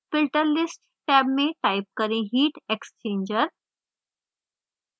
filter list tab में type करें heat exchanger